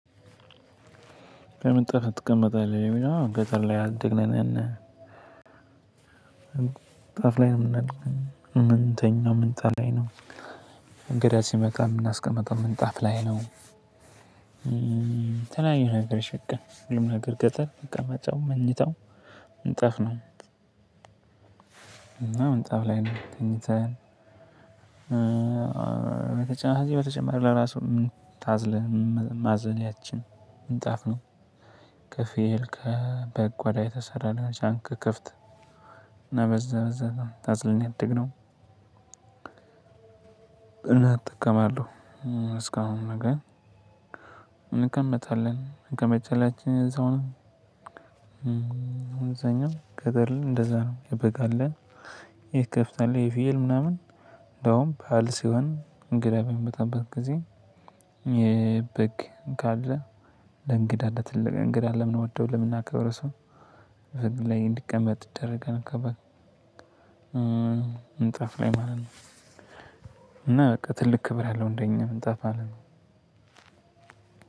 ከምንጣፍ ላይ ትቀመጣለህ ለሚለው ገጠር ላይ ያደግነን እና ምንጣፍ ላይ ነው የምንለው ምንተኛው ምንጣፍ ላይ ነው እንግዳ ሲመጣ የምናስቀምጠው ምንጣፍ ላይ ነው። የተለያዩ ነገሮች በቃ ሁሉም ነገር ገጠር ቀመጫውም መኝታው ምንጣፍ ነው እና ምንጣፍ ላይ ነው ተኝተን። በተጨማሪ በተጨማሪ ለራሱ ምን ታዝለህ ማዘያችን ምንጣፍ ነው። ከፍየል ከበግ ቆዳ የተሰራ ሊሆን ይችላል ከከብት እና በዛ በዛ ነው ታዝለን ያደግነው። እና እጠቀማለሁ እስካሁን ነገ እንቀመጣለን እንቀመጫላችን እዛውንም አለ አይደል እንደዛ ነው የበግ አለን። ይሄ የከብት አለህ የፍየል ምናምን እንደውም ባእል ሲሆን እንግዳ በሚመጣበት ጊዜ የበግ ካለ ለእንግዳ ለትልቅ እንግዳ ለምንወደው ለምናከብር ሰው በግ ላይ እንዲቀመጥ ይደረገን ከበግ ምንጣፍ ላይ ማለት ነው። እና በቃ ትልቅ ክብር ያለው አንደኛ ምንጣፍ አለ